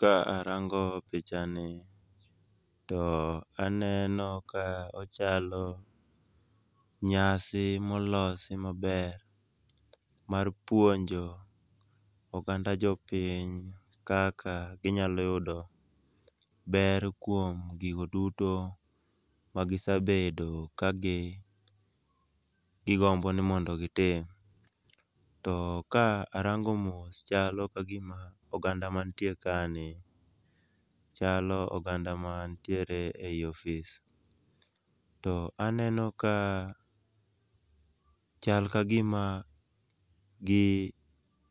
Ka arango picha ni to aneno ka ochalo nyasi molosi maber mar puonjo oganda jopiny kaka ginyalo yudo ber kuom gigo duto magisebedo kagigombo ni mondo gitim. To ka arango mos chalo kagima oganda man tie kani chalo oganda mantiere ei ofis. To aneno ka chal kagima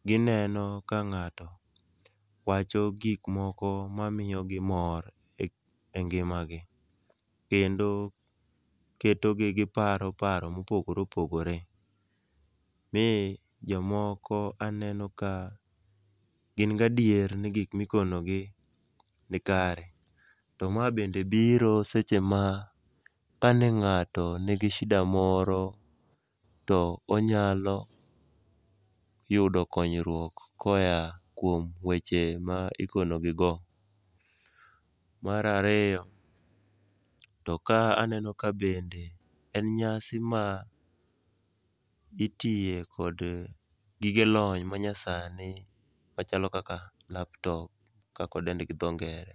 gineno ka ng'ato wacho gik moko mamiyogi mor engimagi. Kendo ketogi gi paro paro mopogore opogore miyo jomoko aneno ka gin gi adier ni gik mikonogi nikare to ma bende biro seche mane kane ng'ato nigi sida moro to onyalo yudo konyruok koa kuom weche ma ikonegigo. Mar ariyo to ka aneno ka bende en nyasi ma itiye kod gige lony manyasani machalo kaka laptop kaka idende gi dho ngere.